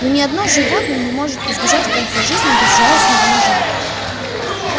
но ни одно животное не может избежать в конце жизни безжалостного ножа